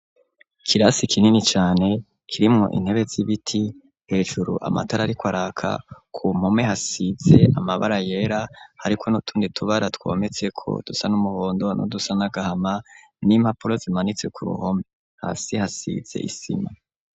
Kirasi ikinini cane kirimwo intebe z'ibiti hejuru amatara ari ko araka ku mpome hasize amabara yera hariko n'utundi tubara twometseko dusa n'umuhondo no dusanagahama n'impapulo zimanitse ku ruhome ha si hasize isima.